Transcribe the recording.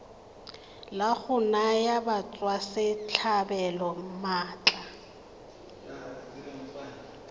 la go naya batswasetlhabelo maatla